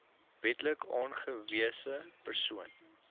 wetlik aangewese persoon